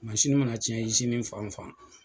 mana cɛn fanfan